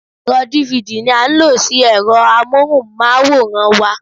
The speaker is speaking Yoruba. Ẹ̀rọ dívidì ní a ń lo sí ẹ̀rọ amóhùnmáwòrán wa.